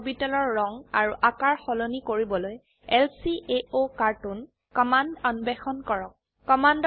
আণবিক অৰবিটেলৰ ৰঙ আৰু আকাৰ সলনি কৰিবলৈ ল্কাওকাৰ্টুন কমান্ড অন্বেষণ কৰক